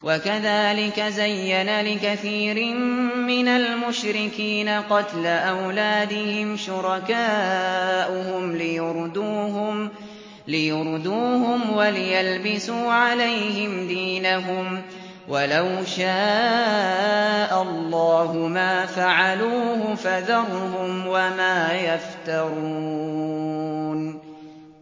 وَكَذَٰلِكَ زَيَّنَ لِكَثِيرٍ مِّنَ الْمُشْرِكِينَ قَتْلَ أَوْلَادِهِمْ شُرَكَاؤُهُمْ لِيُرْدُوهُمْ وَلِيَلْبِسُوا عَلَيْهِمْ دِينَهُمْ ۖ وَلَوْ شَاءَ اللَّهُ مَا فَعَلُوهُ ۖ فَذَرْهُمْ وَمَا يَفْتَرُونَ